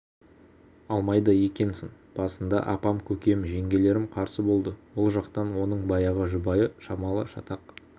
алмайды екенсің басында апам көкем жеңгелерім қарсы болды ол жақтан оның баяғы жұбайы шамалы шатақ